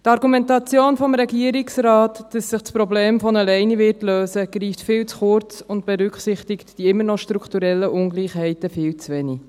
Die Argumentation des Regierungsrates, dass sich das Problem von allein lösen wird, greift viel zu kurz und berücksichtigt die immer noch strukturellen Ungleichheiten viel zu wenig.